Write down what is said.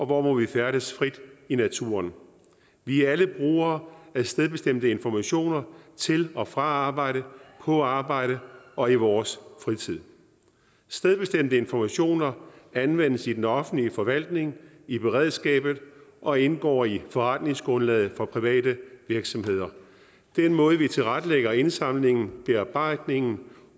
hvor må vi færdes frit i naturen vi er alle brugere af stedbestemte informationer til og fra arbejde på arbejde og i vores fritid stedbestemte informationer anvendes i den offentlige forvaltning i beredskabet og indgår i forretningsgrundlaget for private virksomheder den måde vi tilrettelægger indsamlingen bearbejdningen